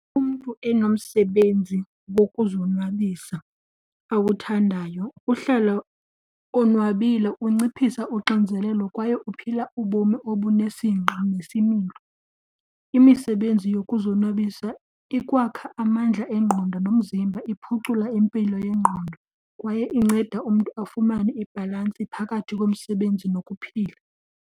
Umntu enomsebenzi wokuzonwabisa awuthandayo uhlala onwabile, unciphisa unxinzelelo kwaye uphila ubomi obunesingqi nesimilo. Imisebenzi yokuzonwabisa ikwakha amandla engqondo nomzimba, iphucule impilo yengqondo kwaye incede umntu afumane ibhalansi phakathi komsebenzi nokuphila.